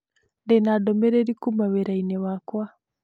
Ndĩ na ndũmĩrĩri kuuma wĩra-inĩ wakwa.